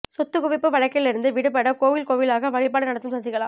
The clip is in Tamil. சொத்துக் குவிப்பு வழக்கில் இருந்து விடுபட கோவில் கோவிலாக வழிபாடு நடத்தும் சசிகலா